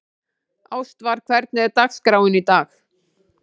Ástvar, hvernig er dagskráin í dag?